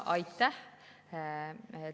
Aitäh!